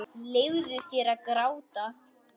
Leyfðu þér að gráta.